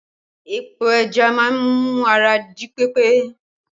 Epo ẹja má ń mú ara jí pé pé